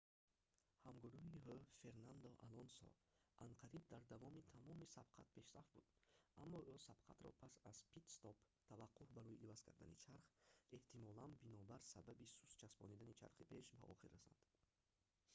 ҳамгурӯҳи ӯ фернандо алонсо анқариб дар давоми тамоми сабқат пешсаф буд аммо ӯ сабқатро пас аз пит-стоп таваққуф барои иваз кардани чарх эҳтимолан бинобар сабаби суст часпондани чархи пеш ба охир расонд